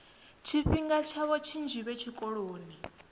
tshifhinga tshavho tshinzhi vhe tshikoloni